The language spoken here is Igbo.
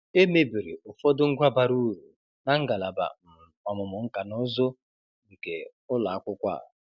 E mebiri ụfọdụ ngwa bara uru na ngalaba um ọmụmụ nkanụzụ̀ nke ụlọakwụkwọ a.